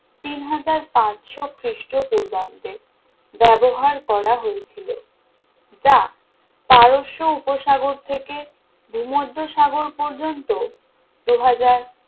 তিন হাজার পাঁচশো খ্রিস্টপূর্বাব্দে ব্যবহার করা হয়েছিল যা পারস্য উপসাগর থেকে ভূমধ্যসাগর পর্যন্ত দু হাজার